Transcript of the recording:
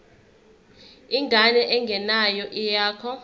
ingane engeyona eyakho